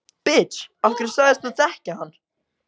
Af hverju sagðist þú þekkja hann?